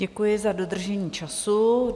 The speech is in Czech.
Děkuji za dodržení času.